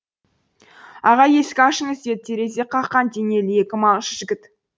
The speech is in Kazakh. аға есік ашыңыз деді терезе қаққан денелі екі малшы жігіт